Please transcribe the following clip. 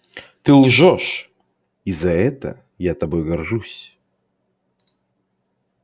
ты лжёшь и за это я тобой горжусь